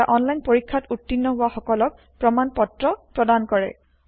এটা অনলাইন পৰীক্ষাত উত্তীৰ্ণ হোৱা সকলক প্ৰমাণ পত্ৰ প্ৰদান কৰে